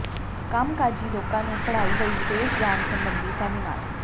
ਕੰਮਕਾਜੀ ਲੋਕਾਂ ਨੂੰ ਪੜ੍ਹਾਈ ਲਈ ਵਿਦੇਸ਼ ਜਾਣ ਸਬੰਧੀ ਸੈਮੀਨਾਰ